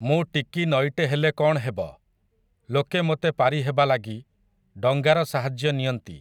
ମୁଁ ଟିକି ନଈଟେ ହେଲେ କ'ଣ୍ ହେବ, ଲୋକେ ମୋତେ ପାରିହେବା ଲାଗି, ଡଙ୍ଗାର ସାହାଯ୍ୟ ନିଅନ୍ତି ।